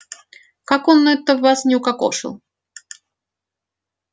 как он это вас не укокошил